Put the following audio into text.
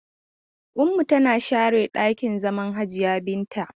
Ummu tana sharan ɗakin zaman Hajiya Binta.